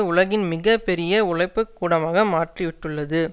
உலகின் மிக பெரிய உழைப்புகூடமாக மாற்றிவிட்டுள்ளது